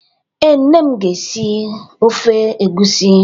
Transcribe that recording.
Ee, nne m na-esi ofe egusi.